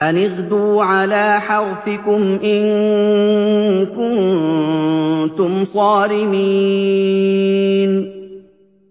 أَنِ اغْدُوا عَلَىٰ حَرْثِكُمْ إِن كُنتُمْ صَارِمِينَ